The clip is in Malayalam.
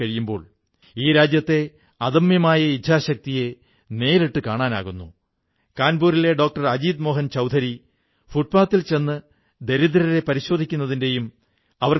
തുടക്കത്തിൽ ആളുകൾ ഖാദിയുടെ കാര്യത്തിൽ സന്ദേഹപ്പെട്ടിരുന്നു എന്നാൽ അവസാനം ഇതിൽ ആളുകളുടെ താത്പര്യം വർധിച്ചു ഇതിനു വിപണി തയ്യാറായി എന്നദ്ദേഹം ഈ അഭിമുഖത്തിൽ പറയുന്നു